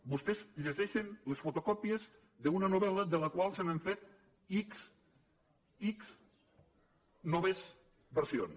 vostès llegeixen les fotocòpies d’una novel·la de la qual s’han fet ics ics noves versions